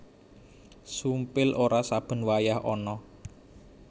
Sumpil ora saben wayah ana